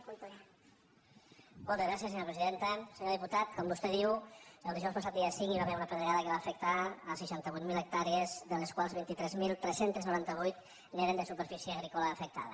senyor diputat com vostè diu el dijous passat dia cinc hi va haver una pedregada que va afectar seixanta vuit mil hectàrees de les quals vint tres mil tres cents i noranta vuit eren de superfície agrícola afectada